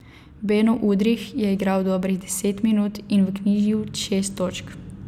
Beno Udrih je igral dobrih deset minut in vknjižil šest točk.